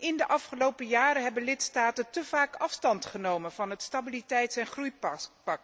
In de afgelopen jaren hebben lidstaten te vaak afstand genomen van het stabiliteits en groeipact.